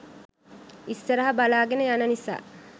ඉස්සරහ බලාගෙන යන නිසා